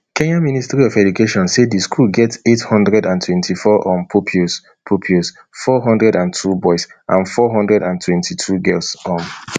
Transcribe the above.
kenyan ministry of education say di school get eight hundred and twenty-four um pupils pupils four hundred and two boys and four hundred and twenty-two girls um